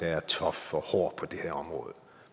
er tough og hård på det her område